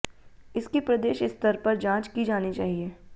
इसकी प्रदेश स्तर पर जांच की जानी चाहिए